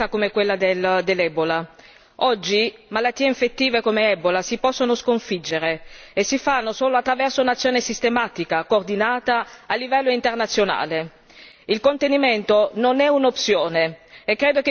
Oggi, malattie infettive come l'ebola si possono sconfiggere e ciò si fa solo attraverso un'azione sistematica, coordinata a livello internazionale. Il contenimento non è un'opzione e credo che occorra debellare la malattia subito.